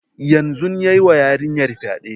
Yanzun yayi wa yarinyar fyaɗe